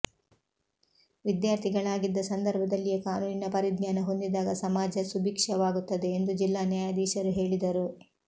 ವಿದ್ಯಾರ್ಥಿಗಳಾಗಿದ್ದ ಸಂದರ್ಭದಲ್ಲಿಯೇ ಕಾನೂನಿನ ಪರಿಜ್ಞಾನ ಹೊಂದಿದಾಗ ಸಮಾಜ ಸುಭಿಕ್ಷವಾಗುತ್ತದೆ ಎಂದು ಜಿಲ್ಲಾ ನ್ಯಾಯಾಧೀಶರು ಹೇಳಿದರು